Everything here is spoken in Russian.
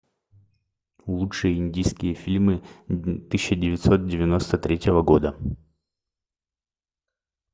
лучшие индийские фильмы тысяча девятьсот девяносто третьего года